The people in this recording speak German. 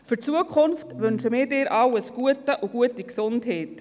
Für die Zukunft wünschen wir Ihnen alles Gute und eine gute Gesundheit.